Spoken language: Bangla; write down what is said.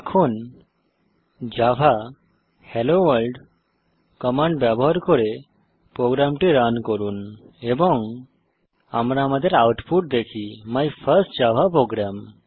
এখন জাভা হেলোভোর্ল্ড কমান্ড ব্যবহার করে প্রোগ্রামটি রান করুন এবং আমরা আমাদের আউটপুট দেখি মাই ফার্স্ট জাভা program